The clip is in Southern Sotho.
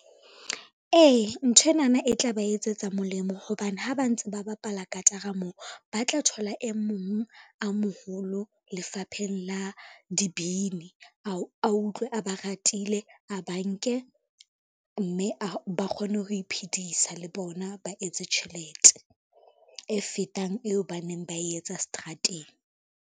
Ee, nthwenana e tla ba etsetsa molemo hobane ha ba ntse ba bapala katara moo ba tla thola e mong a moholo lefapheng la dibini a utlwe a ba ratile a ba nke, mme ba kgone ho iphedisa le bona, ba etse tjhelete e fetang eo ba neng ba e etsa strateng.